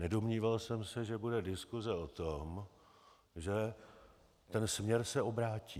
Nedomníval jsem se, že bude diskuse o tom, že ten směr se obrátí.